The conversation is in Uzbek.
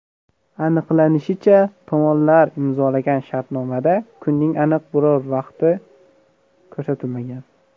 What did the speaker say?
Aniqlanishicha, tomonlar imzolagan shartnomada kunning aniq biror vaqti ko‘rsatilmagan.